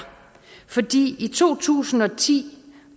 fordi i to tusind og ti